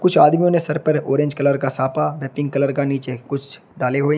कुछ आदमियों ने सर पर ऑरेंज कलर का साफा व पिंक कलर का नीचे कुछ डाले हुए हैं।